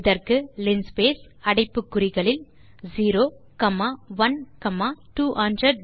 இதற்கு லின்ஸ்பேஸ் அடைப்பு குறிகளுக்குள் 0 காமா 1 காமா 200